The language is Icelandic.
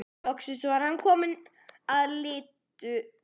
Loksins var hann kominn að Litlutá.